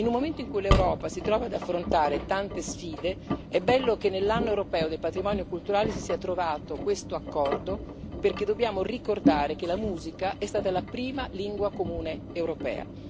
In un momento in cui l'Europa si trova ad affrontare tante sfide, è bello che nell'anno europeo del patrimonio culturale si sia trovato questo accordo, perché dobbiamo ricordare che la musica è stata la prima lingua comune europea.